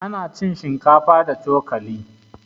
Ana cin shinkafa da cokali